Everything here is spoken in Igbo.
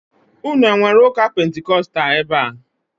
Ụnụ enwere ụka pentikóstal ebea?